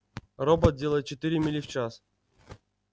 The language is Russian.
робот делает четыре мили в час